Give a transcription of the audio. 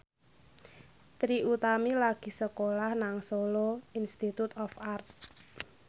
Trie Utami lagi sekolah nang Solo Institute of Art